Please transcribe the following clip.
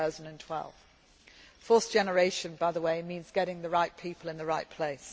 of 2012. Force generation, by the way, means getting the right people in the right